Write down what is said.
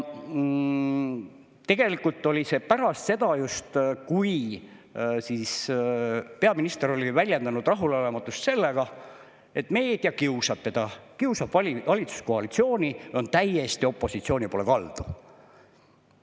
Tegelikult oli see just pärast seda, kui peaminister oli väljendanud rahulolematust selle pärast, et meedia kiusab teda, kiusab valitsuskoalitsiooni ja on täiesti opositsiooni poole kaldu.